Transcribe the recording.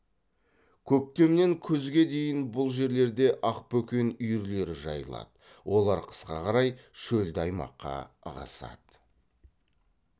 көктемнен күзге дейін бұл жерлерде ақбөкен үйірлері жайылады олар қысқа қарай шөлді аймаққа ығысады